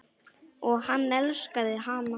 Og hann elskaði hana.